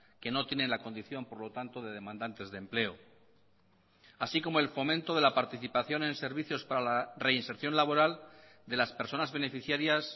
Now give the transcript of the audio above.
que no tienen la condición por lo tanto de demandantes de empleo así como el fomento de la participación en servicios para la reinserción laboral de las personas beneficiarias